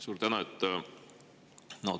Suur tänu!